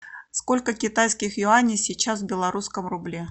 сколько китайских юаней сейчас в белорусском рубле